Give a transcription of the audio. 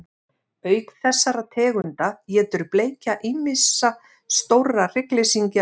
Auk þessara tegunda étur bleikja ýmsa stóra hryggleysingja allt árið, en þó mest á vorin.